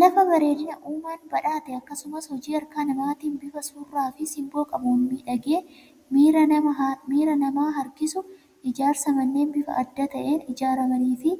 Lafa bareedina uumaan badhaate akkasumas hojii harka namaatiin bifa surraa fi simboo qabuun miidhagee miira namaa harkisu. Ijaarsa manneen bifa adda ta'een ijaaramanii fi